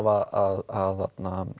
að